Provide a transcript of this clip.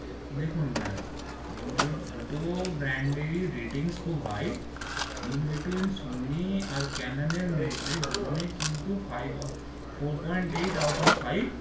দেখুন ma'am দু জন দুটো brand ratings খুব high in between সনি আর ক্যানেন এর মধ্যে দু জন কিন্তু five or four point eight out of five